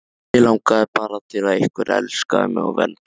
Mig langaði bara til að einhver elskaði mig og verndaði.